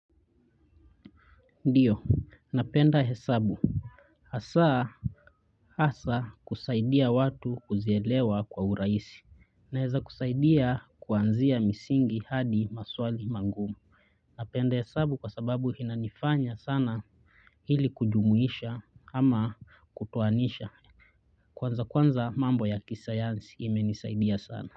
Ndiyo, napenda hesabu. Hasa, hasa kusaidia watu kuzielewa kwa urahisi. Naeza kusaida kuanzia msingi hadi maswali magumu napenda hesabu kwa sababu inanifanya sana hili kujumuisha ama kutoanisha. Kwanza kwanza mambo ya kisayansi imenisaidia sana.